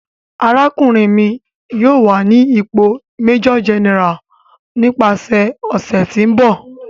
Arakunrin mi yoo wa ni ipo bi Major General nipasẹ ọsẹ ti n bọ.